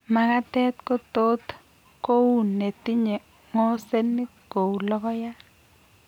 Makatet kotot kou netinye ng'osenik kouu logoyaat